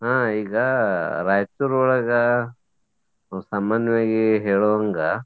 ಹಾ ಈಗ ರಾಯಚೂರ್ ಒಳಗ ಸಾಮಾನ್ಯವಾಗಿ ಹೇಳುವಂಗ.